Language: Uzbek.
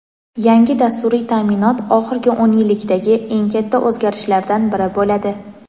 yangi dasturiy ta’minot oxirgi o‘n yillikdagi "eng katta" o‘zgarishlardan biri bo‘ladi.